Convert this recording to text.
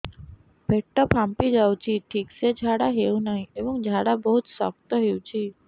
ପେଟ ଫାମ୍ପି ଯାଉଛି ଠିକ ସେ ଝାଡା ହେଉନାହିଁ ଏବଂ ଝାଡା ବହୁତ ଶକ୍ତ ହେଉଛି